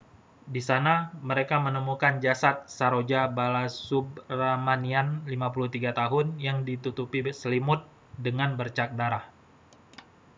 di sana mereka menemukan jasad saroja balasubramanian 53 tahun yang ditutupi selimut dengan bercak darah